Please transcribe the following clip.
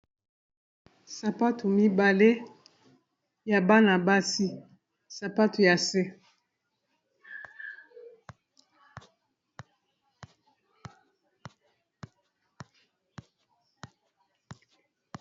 Sapatu mibale ya bana basi sapato ya se.